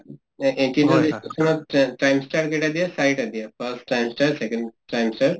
trimester কেইটা দিয়ে? চাৰিটা দিয়ে first trimester second trimester